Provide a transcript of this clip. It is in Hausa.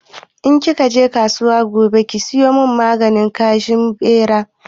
In ki ka je kasuwa gobe ki sayo maganin kashe Ɓera